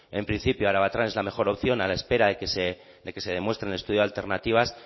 en principio arabatran es la mejor opción a la espera de que se demuestre en el estudio de alternativas